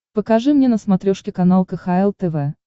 покажи мне на смотрешке канал кхл тв